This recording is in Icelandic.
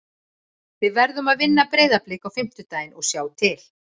Við verðum að vinna Breiðablik á fimmtudaginn og sjá til.